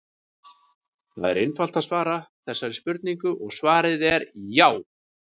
Það er einfalt að svara þessari spurningu og svarið er já!